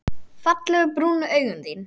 Fallegu brúnu augun þín.